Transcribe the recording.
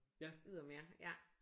Ydermere ja